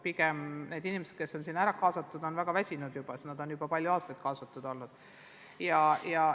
Pigem on inimesed, kes on sinna kaasatud, juba väga väsinud, sest nad on juba palju aastaid sellega tegelenud.